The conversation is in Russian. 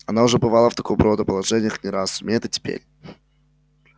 она уже бывала в такого рода положениях не раз сумеет и теперь